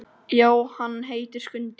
Já, hann heitir Skundi.